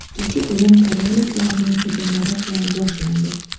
Ikkinchi bo‘lim koreyaliklarning hujumlari bilan boshlandi.